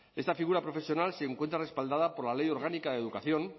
esta figura profesional se encuentra respaldada por la ley orgánica de educación